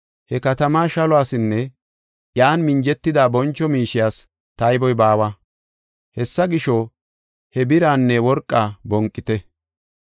He katamaa shaluwasinne, iyan minjetida boncho miishiyas tayboy baawa. Hessa gisho, he biraanne worqaa bonqite!